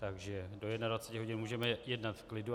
Takže do 21 hodin můžeme jednat v klidu.